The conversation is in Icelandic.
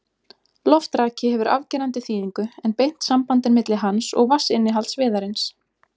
Loftraki hefur afgerandi þýðingu, en beint samband er milli hans og vatnsinnihalds viðarins.